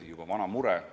Juba vana mure!